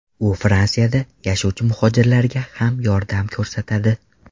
U Fransiyada yashovchi muhojirlarga ham yordam ko‘rsatadi.